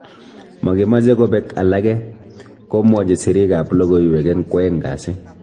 "Magimeche kobek alage", komwachi sirik ab logoywek eng kwaeng kasi